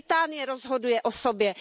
Británie rozhoduje o sobě.